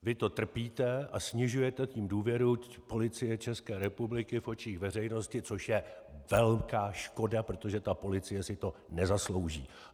Vy to trpíte a snižujete tím důvěru Policie České republiky v očích veřejnosti, což je velká škoda, protože ta policie si to nezaslouží.